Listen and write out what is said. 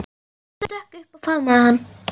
Hún stökk upp og faðmaði hann.